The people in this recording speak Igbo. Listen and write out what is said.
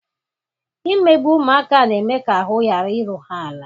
imegbu ụmụaka na-eme ka ahụ ghara iru ha ala.